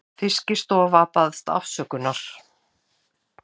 Fiskistofa biðst afsökunar